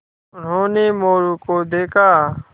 उन्होंने मोरू को देखा